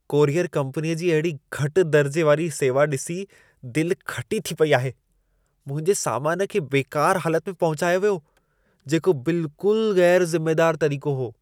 Courier कंपनीअ जी अहिड़ी घटि दर्जे वारी सेवा ॾिसी दिलि खटी थी पेई आहे। मुंहिंजे सामान खे बेकार हालत में पहुचायो वियो, जेको बिल्कुलु ग़ैरु ज़िमेदारु तरीक़ो हो।